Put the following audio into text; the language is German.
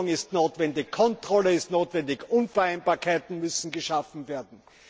Registrierung ist notwendig, Kontrolle ist notwendig, Unvereinbarkeiten müssen geschaffen werden.